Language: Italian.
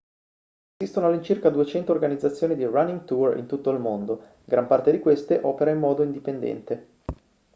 esistono all'incirca 200 organizzazioni di running tour in tutto il mondo gran parte di queste opera in modo indipendente